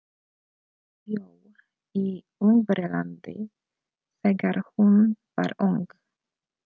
Hún bjó í Ungverjalandi þegar hún var ung.